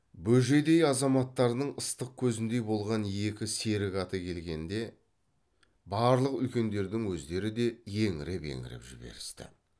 бөжейдей азаматтарының ыстық көзіндей болған екі серік аты келгенде барлық үлкендердің өздері де еңіреп еңіреп жіберісті